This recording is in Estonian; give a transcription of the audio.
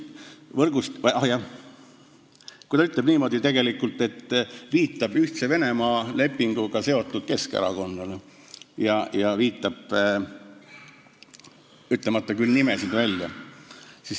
Aa, ta viitab tegelikult Ühtse Venemaa lepinguga seotud Keskerakonnale, ütlemata küll nimesid välja.